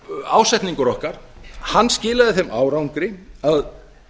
ásetningur okkar skilaði þeim árangri að